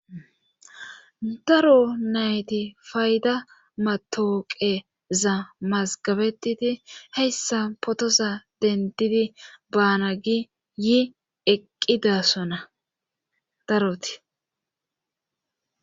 Daro nayti fayda matooqeza mazgabetiti heyssa potoza dendidi baana gi yi eqqidasona daroti